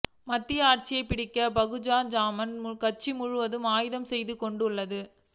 மத்தியில் ஆட்சியை பிடிக்க பகுஜன் சமாஜ் கட்சி முழுமையாக ஆயத்தம் செய்து கொண்டுள்ளது